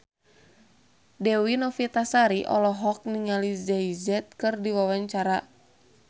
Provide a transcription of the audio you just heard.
Dewi Novitasari olohok ningali Jay Z keur diwawancara